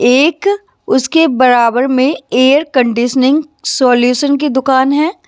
एक उसके बराबर में एयर कंडीशनिंग सॉल्यूशन की दुकान है।